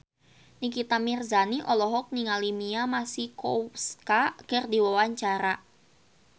Nikita Mirzani olohok ningali Mia Masikowska keur diwawancara